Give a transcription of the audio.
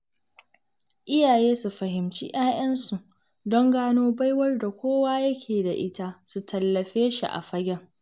Iyaye su fahimci 'ya'yansu don gano baiwar da kowa yake da ita su tallafe shi a fagen